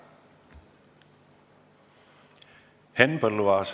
Henn Põlluaas.